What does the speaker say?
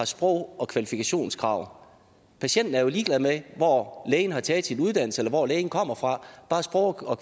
sprog og kvalifikationskrav patienten er jo ligeglad med hvor lægen har taget sin uddannelse eller hvor lægen kommer fra bare sprog og